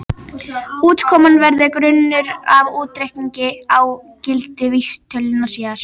Útkoman verður grunnur að útreikningi á gildi vísitölunnar síðar.